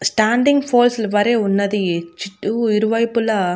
Standing poles వలె ఉన్నది చుట్టు ఇరు వైపుల.